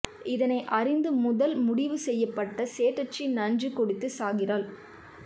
இதனை அறிந்து முதலில் முடிவு செய்யப்பட்ட செட்டிச்சி நஞ்சு குடித்து சாகிறாள்